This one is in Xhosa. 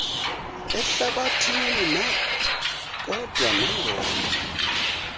ehlabathini kodwa nangona